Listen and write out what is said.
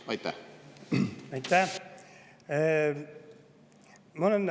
Aitäh!